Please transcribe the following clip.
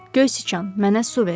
Göy siçan, mənə su ver!